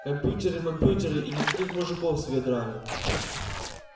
компьютеры-мампьютеры и никаких мужиков с вёдрами